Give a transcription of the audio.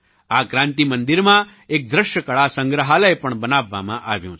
આ ક્રાન્તિ મંદિરમાં એક દૃશ્યકળા સંગ્રહાલય પણ બનાવવામાં આવ્યું છે